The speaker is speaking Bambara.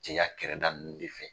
Cɛya kɛrɛda ninnu de fɛ.